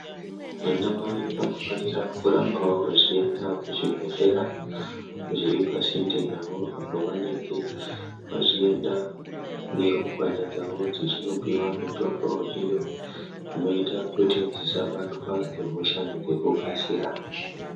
Anamai vanofanira kurambawo vachienda kuzvibhedhlera zviri pasinde navo apo vanenge vachienda nerumbwana dzavo dzechinopiwa mitombo iyo inoita kuti dzisabatwa ngehosha ngekukasira.